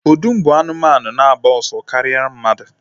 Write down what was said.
Ọdụm bụ anụmanụ na-agba ọsọ karịa mmadu